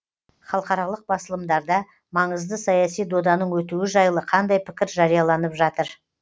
халықаралық басылымдарда маңызды саяси доданың өтуі жайлы қандай пікір жарияланып жатыр